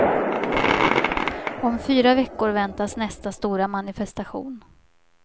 Om fyra veckor väntas nästa stora manifestation.